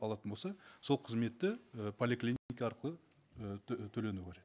алатын болса сол қызметті і арқылы і төленуі қажет